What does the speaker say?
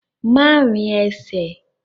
Má rin ẹsẹ̀!